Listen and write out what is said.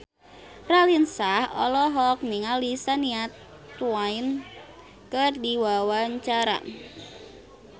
Raline Shah olohok ningali Shania Twain keur diwawancara